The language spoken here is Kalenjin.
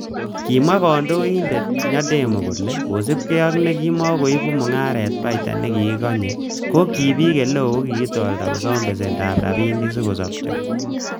Kimwa konyoindet Nyandemo kole,''kosiibge ak nekimon kooibu mungarok baita nekikikonye, ko bik eleo ko kikitorta kosom besendab rabinik sikosopcho.''